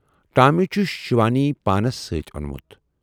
"Tommy چھُ شِوانی پانَس سۭتی اونمُت۔